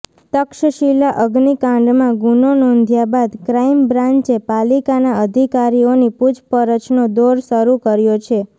તક્ષશિલા અગ્નિકાંડમાં ગુનો નોંધ્યા બાદ ક્રાઇમ બ્રાંચે પાલિકાના અધિકારીઓની પૂછપરછનો દોર શરૂ કર્યો છે